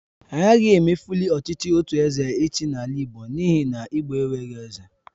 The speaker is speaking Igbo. Agaghị emefuli ọchịchị otu eze ịchị n'ala igbo n'ihi na igbo enweghị eze